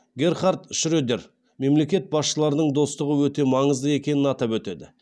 герхард шредер мемлекет басшыларының достығы өте маңызды екенін атап өтеді